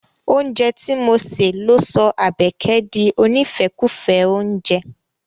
Oúnjẹ ti mo se ló sọ Àbẹ̀kẹ̀ di onífẹ́kùfẹ́ oúnjẹ.